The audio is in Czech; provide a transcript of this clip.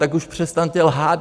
Tak už přestaňte lhát!